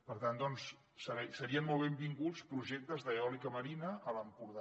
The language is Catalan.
per tant doncs serien molt benvinguts projectes d’eòlica marina a l’empordà